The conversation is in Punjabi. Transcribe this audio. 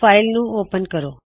ਫ਼ਾਇਲ ਨੂੰ ਓਪਨ ਕਰੋ